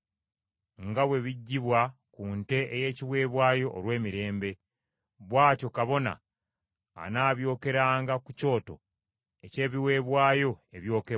(nga bwe biggyibwa ku nte ey’ekiweebwayo olw’emirembe), bw’atyo kabona anaabyokeranga ku kyoto eky’ebiweebwayo ebyokebwa.